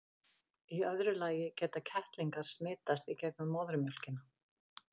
í öðru lagi geta kettlingar smitast í gegnum móðurmjólkina